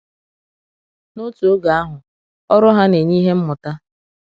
N’òtù oge àhụ, ọrụ hà na-enye ihe mmụta.